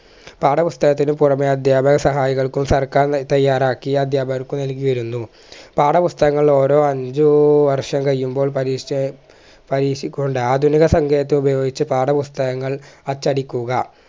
പാഠപുസ്തകത്തിനു പുറമെ അദ്ധ്യാപക സഹായികൾക്കും സർക്കാർ നൽ തയ്യാറാക്കിയ അദ്ധ്യാപകർക്കു നൽകിവരുന്നു പാഠപുസ്തകങ്ങൾ ഓരോ അഞ്ചു വർഷം കയ്യുമ്പോൾ പരിഷ് പരിഷിക്കുന്നുണ്ട് ആധുനിക ഉപയോഗിച് പാഠപുസ്തകങ്ങൾ അച്ചടിക്കുക